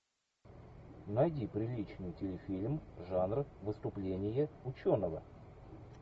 найди приличный телефильм жанр выступление ученого